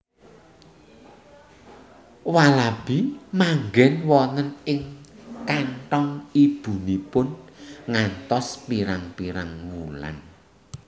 Walabi manggen wonten ing kanthong ibunipun ngantos pirang pirang wulan